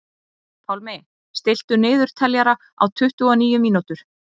Pálmi, stilltu niðurteljara á tuttugu og níu mínútur.